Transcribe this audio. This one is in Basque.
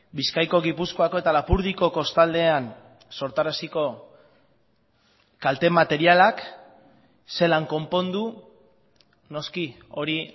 bizkaiko gipuzkoako eta lapurdiko kostaldean sortaraziko kalte materialak zelan konpondu noski hori